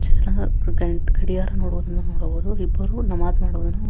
ಚಿತ್ರಣದ ಗಡಿಯಾರವನ್ನು ನೋಡಬಹುದು. ಇಬ್ಬರು ನಮಾಜ್ ಮಾಡುವುದನ್ನು --